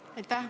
Aitäh!